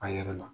A yɛrɛ la